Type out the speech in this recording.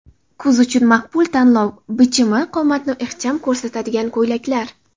Kuz uchun maqbul tanlov: Bichimi qomatni ixcham ko‘rsatadigan ko‘ylaklar .